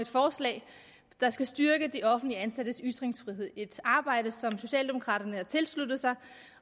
forslag der skal styrke de offentligt ansattes ytringsfrihed et arbejde som socialdemokraterne har tilsluttet sig